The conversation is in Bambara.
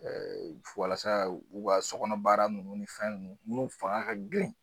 Ɛɛ walasa u ga sɔgɔnɔbaara nunnu ni fɛn nunnu n'u fanga ka girin